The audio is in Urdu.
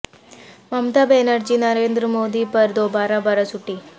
ممتا بنر جی نریندر مودی پر دوبارہ برس اٹھیں